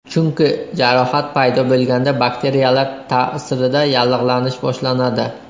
Chunki, jarohat paydo bo‘lganda, bakteriyalar ta’sirida yallig‘lanish boshlanadi.